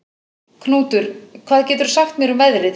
Knútur, hvað geturðu sagt mér um veðrið?